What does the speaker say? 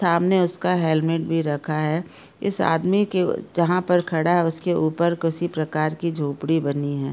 सामने उसका हेलमेट भी रखा है इस आदमी के जहाँ पर खड़ा है उसके ऊपर किसी प्रकार की झोपड़ी बनी है।